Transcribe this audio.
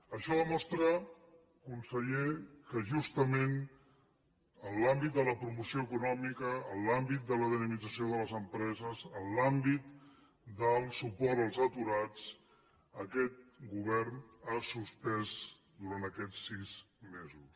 això demostra conseller que justament en l’àmbit de la promoció econòmica en l’àmbit de la dinamització de les empreses en l’àmbit del suport als aturats aquest govern ha suspès durant aquests sis mesos